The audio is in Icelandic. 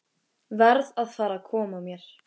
Verð að fara að koma mér.